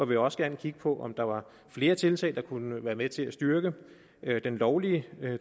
vil også gerne kigge på om der var flere tiltag der kunne være med til at styrke den lovlige